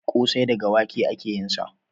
Ƙosai daga wake ake yin sa